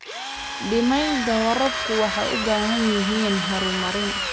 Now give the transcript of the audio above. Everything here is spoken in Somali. Nidaamyada waraabku waxay u baahan yihiin horumarin.